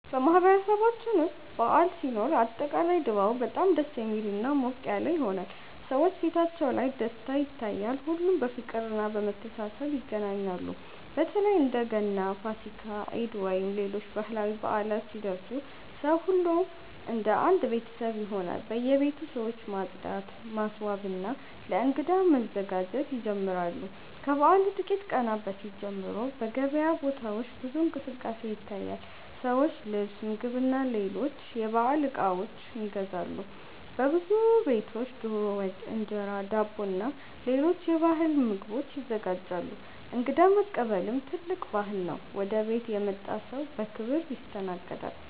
በማህበረሰባችን ውስጥ በዓል ሲኖር አጠቃላይ ድባቡ በጣም ደስ የሚልና ሞቅ ያለ ይሆናል። ሰዎች ፊታቸው ላይ ደስታ ይታያል፣ ሁሉም በፍቅርና በመተሳሰብ ይገናኛሉ። በተለይ እንደ ገና፣ ፋሲካ፣ ኢድ ወይም ሌሎች ባህላዊ በዓላት ሲደርሱ ሰው ሁሉ እንደ አንድ ቤተሰብ ይሆናል። በየቤቱ ሰዎች ማጽዳት፣ ማስዋብና ለእንግዳ መዘጋጀት ይጀምራሉ። ከበዓሉ ጥቂት ቀናት በፊት ጀምሮ በገበያ ቦታዎች ብዙ እንቅስቃሴ ይታያል፤ ሰዎች ልብስ፣ ምግብና ሌሎች የበዓል እቃዎች ይገዛሉ። በብዙ ቤቶች ዶሮ ወጥ፣ እንጀራ፣ ዳቦና ሌሎች የባህል ምግቦች ይዘጋጃሉ። እንግዳ መቀበልም ትልቅ ባህል ነው፤ ወደ ቤት የመጣ ሰው በክብር ይስተናገዳል።